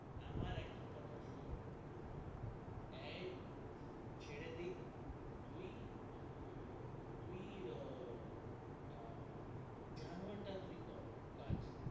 আমার একটা কথা শুন এ ছেড়ে দিক তুই, তুই আ যানয়তা একটা কর কাজ,